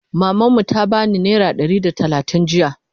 maman mu ta bani naira Ɗari da talatin jiya